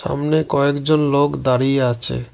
সামনে কয়েকজন লোক দাঁড়িয়ে আছে।